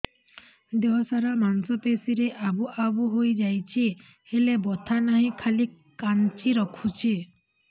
ଦେହ ସାରା ମାଂସ ପେଷି ରେ ଆବୁ ଆବୁ ହୋଇଯାଇଛି ହେଲେ ବଥା ନାହିଁ ଖାଲି କାଞ୍ଚି ରଖୁଛି